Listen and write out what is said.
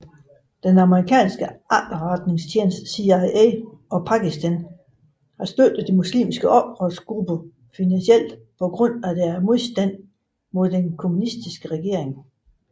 Den amerikanske efterretningstjeneste CIA og Pakistan støttede muslimske oprørsgrupper finansielt på grund af deres modstand mod den kommunistiske regering